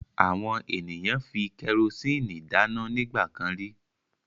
Àwọn ènìyàn fi kẹrósíínì dáná nígbà kan rí.